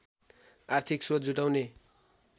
आर्थिक स्रोत जुटाउने